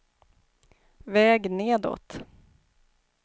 väg nedåt